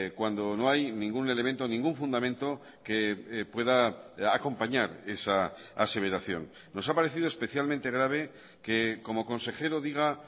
cuando no hay ningún elemento o ningún fundamento que pueda acompañar esa aseveración nos ha parecido especialmente grave que como consejero diga